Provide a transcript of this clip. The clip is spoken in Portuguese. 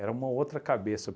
Era uma outra cabeça.